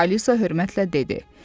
Alisa hörmətlə dedi: